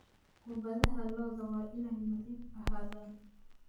Goobaha lo'du waa inay nadiif ahaadaan.